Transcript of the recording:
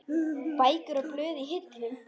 Bækur og blöð í hillum.